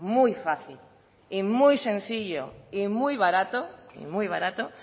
muy fácil y muy sencillo y muy barato muy barato